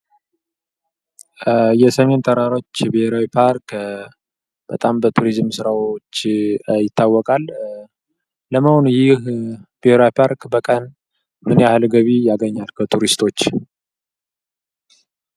የሰሜን ተራሮች ብሔራዊ ፓርክ በጣም በቱሪዝም ስራዎች ይታወቃል። ለመሆኑ ይህ ብሔራዊ ፓርክ በቀን ምን ያህል ገቢ ያገኛል ከቱሪስቶች?